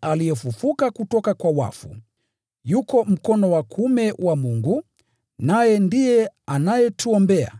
aliyefufuliwa kutoka kwa wafu, yuko mkono wa kuume wa Mungu, naye pia anatuombea.